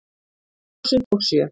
Tvö þúsund og sjö